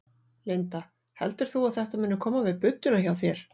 Linda: Heldur þú að þetta muni koma við budduna hjá þér?